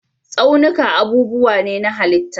Tsaunuka abubuwa ne na halitta.